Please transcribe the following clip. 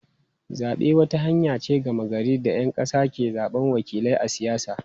Zabe wata hanya ce ta gama gari da ‘yan kasa ke zabar wakilai a siyasa.